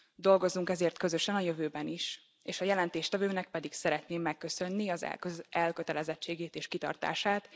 Dolgozzunk ezért közösen a jövőben is, és a jelentéstevőnek pedig szeretném megköszönni az elkötelezettségét és kitartását.